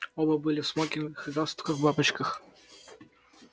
оба были в смокингах и галстуках бабочках